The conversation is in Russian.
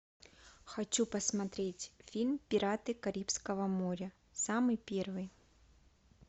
хочу посмотреть фильм пираты карибского моря самый первый